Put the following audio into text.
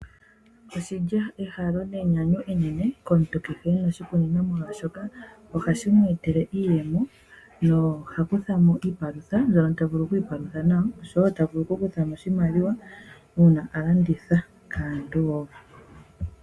Oshili ehalo nenyanyu enene komuntu kehe e na oshikunino molwaashoka ohashi mu etele iiyemo, ye oha kutha mo iipalutha mbyono ta vulu oku ipalutha nayo oshowo ta vulu oku kutha mo oshimaliwa uuna a landitha kaantu wo.